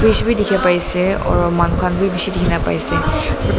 deke pai ase or manu khan beh beshe dekhe kena pai ase uh--